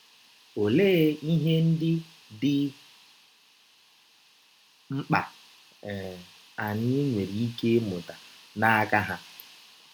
Ọlee ihe ndị dị mkpa um anyị nwere ike ịmụta n’aka ha??